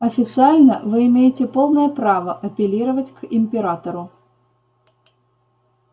официально вы имеете полное право апеллировать к императору